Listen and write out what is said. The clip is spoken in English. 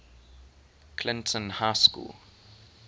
clinton high school